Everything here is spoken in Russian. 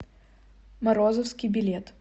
морозовский билет